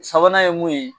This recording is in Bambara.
Sabanan ye mun ye